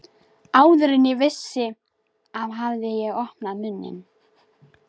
Áður en ég vissi af hafði ég opnað munninn.